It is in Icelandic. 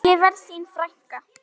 Ég verð þín frænka.